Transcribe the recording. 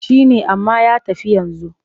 Shi ne amma ya tafi yanzu.